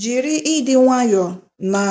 Jiri ịdị nwayọọ na